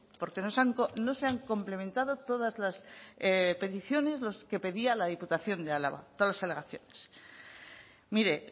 porque no se han complementado todas las alegaciones que pedía la diputación de álava mire